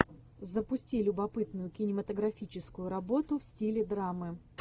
запусти любопытную кинематографическую работу в стиле драмы